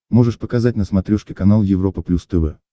можешь показать на смотрешке канал европа плюс тв